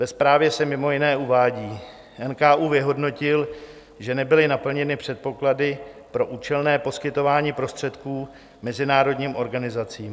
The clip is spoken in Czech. Ve zprávě se mimo jiné uvádí: NKÚ vyhodnotil, že nebyly naplněny předpoklady pro účelné poskytování prostředků mezinárodním organizacím.